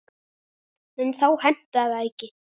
En þá hentaði það ekki.